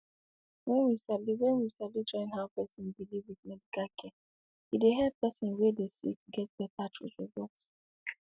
wen we sabi wen we sabi join how person believe with medical care e dey help person wey dey sick get beta result